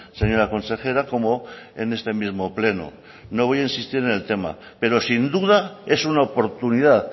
señora consejera como en este mismo pleno no voy a insistir en el tema pero sin duda es una oportunidad